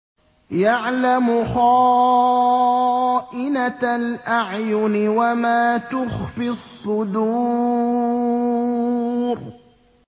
يَعْلَمُ خَائِنَةَ الْأَعْيُنِ وَمَا تُخْفِي الصُّدُورُ